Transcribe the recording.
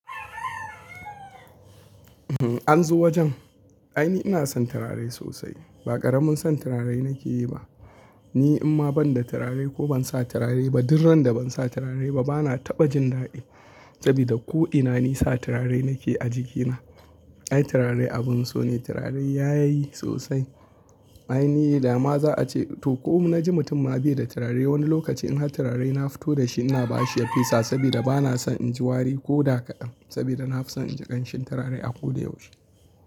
An zo wajen? Ai ni ina son turare sosai. Ba karamin son turare nake yi ba. Ni in ma banda turare ko ban sa turare ba, duk randa ban sa turare ba bana taɓa jin daɗi sabida ko'ina ni sa turare nake a jikina. Ai turare abun so ne, turare yayi sosai. Ai ni dama za a ce to ko ina naji mutum ma bai da turare wani lokaci in ha turare na fito da shi ina bashi ya fisa sabida bana son in ji wari ko da kaɗan sabida na fi son in ji ƙanshin turare a ko da yaushe.